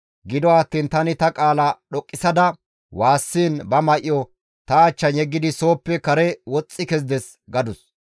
Gido attiin tani ta qaala dhoqqisada waassiin izi ba may7o ta achchan yeggidi sooppe kare woxxi kezides» gadus.